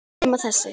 Nema þessi.